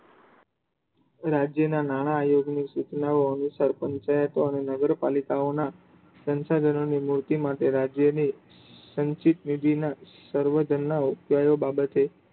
રાજ્ય ના નાણા તેમની સૂચનાઓ મુજબ સરપંચ અંગે અને નગરપાલિકાઓ ના સંશાધનો ની મૂર્તિ માટે લાગેલી સંચિત નિધિ ના સર્વજ્ન્ન ના ઉપાયો બાબતે